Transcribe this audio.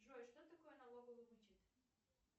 джой что такое налоговый вычет